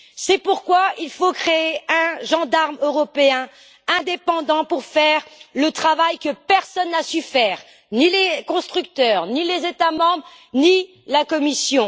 C'est pourquoi il faut créer un gendarme européen indépendant pour faire le travail que personne n'a su faire, ni les constructeurs, ni les États membres, ni la Commission.